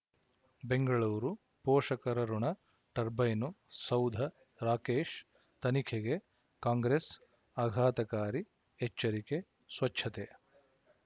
ಬೆಂಗಳೂರು ಪೋಷಕರಋಣ ಟರ್ಬೈನು ಸೌಧ ರಾಕೇಶ್ ತನಿಖೆಗೆ ಕಾಂಗ್ರೆಸ್ ಆಘಾತಕಾರಿ ಎಚ್ಚರಿಕೆ ಸ್ವಚ್ಛತೆ